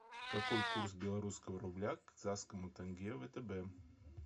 какой курс белорусского рубля к казахскому тенге в втб